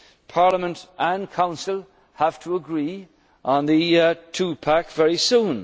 economic governance. Parliament and Council have to agree on the